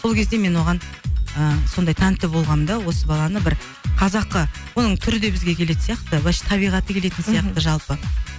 сол кезде мен оған ыыы сондай тәнті болғанмын да осы баланы бір қазақы оның түрі де бізге келетін сияқты былайша табиғаты келетін сияқты мхм жалпы